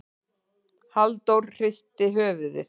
Halldóra hristi höfuðið.